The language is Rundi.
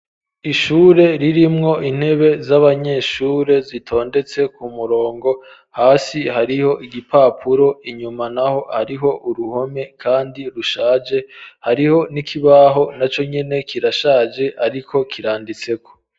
Ishure ririmwo, intebe z'abanyeshure, zitondetse ku murongo; hasi hariho igipapuro, inyuma naho, hariho uruhome, kandi rushaje; hariho n'ikibaho, naco nyene kirashaje, ariko kiranditseko.